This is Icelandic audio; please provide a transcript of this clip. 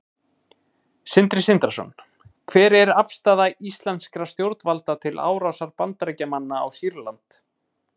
Sindri Sindrason: Hver er afstaða íslenskra stjórnvalda til árásar Bandaríkjamanna á Sýrland?